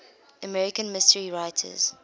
american mystery writers